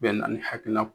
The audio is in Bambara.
Bɛ na ni hakilina